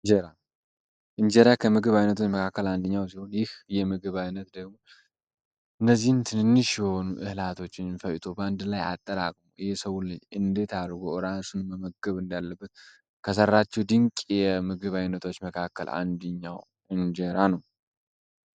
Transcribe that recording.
እንጀራ እንጀራ ከምግብ አይነቶች መካከል አንደኛው ሲሆን ይህ የምግብ አይነት እነዚህ ትንንሽ የሆኑ እህላቶችን ፈጭቶ በአንድ ላይ አጠራቅሞ የሰው ልጅ እንዴት አድርጎ ራሱን መመገብ እንዳለበት ከሰራቸው ድንቅ የምግብ አይነቶች መካከል አንደኛው እንጀራ ነው።